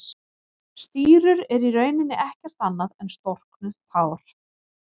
Stírur eru í rauninni ekkert annað en storknuð tár.